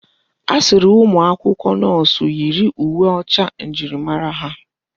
A sịrị umụ akwụkwọ nọọsụ yiri uwe ọcha njirimara ha.